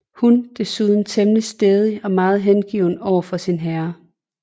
Hun desuden temmelig stædig og meget hengiven overfor sin herre